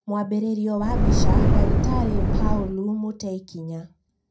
mwambĩrĩrio wa mbica, Dagitarĩ Paulu Mũteikinya